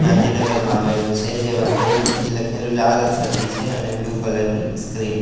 ગાંધીનગરમાં આવેલું છે જેમાં સુમન સીટી લખેલું લાલ અક્ષરથી છે અને બ્લુ કલર ની સ્ક્રીન --